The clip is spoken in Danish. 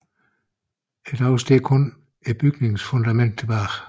I dag står kun bygningens fundament tilbage